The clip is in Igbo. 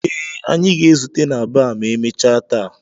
Ee, anyị ga-ezute na baa ma emechaa taa